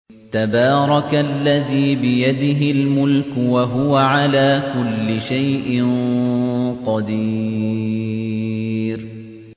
تَبَارَكَ الَّذِي بِيَدِهِ الْمُلْكُ وَهُوَ عَلَىٰ كُلِّ شَيْءٍ قَدِيرٌ